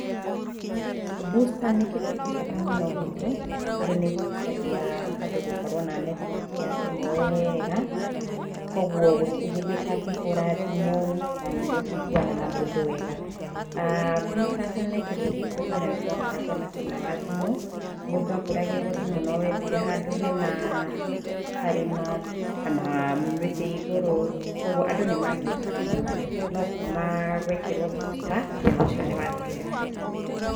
Booster nĩ kĩndũ kĩ bata mũno gwitũ, tondũ nĩ ĩhotithagia andũ gũkorwo na network ya thimũ wega, koguo gũtirĩ hindĩ ũtangĩhũra thimũ na nĩ mũkũiguana na mũndũ wega. aah Boster ĩtanekĩrwo gwitũ tene nĩ gwakoragwo na thĩna wa thimũ. Mũndũ ahũragĩrwo thimũ no wethire handũ hena karĩma, kana mĩtĩ igũrũ, koguo andũ nĩ magiĩkaga mũno, no kuuma gwekĩrwo booster, thina ũcio nĩ wathirire biũ.